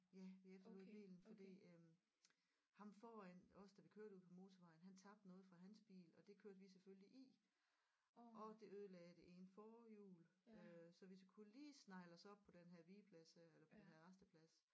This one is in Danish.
Ja vi efterlod bilen fordi øh ham foran os da vi kørte ude på motorvejen han tabte noget fra hans bil og det kørte vi selvfølgelig i og det ødelagde det ene forhjul øh så vi kunne lige snegle os op på den her vigeplads her eller på den her rasteplads